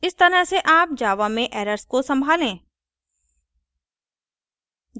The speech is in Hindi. इस तरह से आप java में errors को संभालें